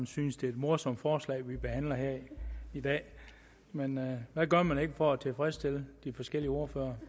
synes det er et morsomt forslag vi behandler her i dag men hvad gør man ikke for at tilfredsstille de forskellige ordførere